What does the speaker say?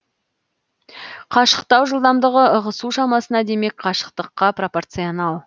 қашықтау жылдамдығы ығысу шамасына демек қашықтыққа пропорционал